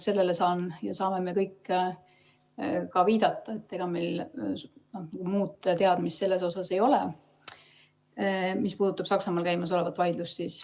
Sellele saan mina ja saame me kõik viidata, ega meil muud teadmist selles asjas ei ole, mis puudutab Saksamaal käimas olevat vaidlust.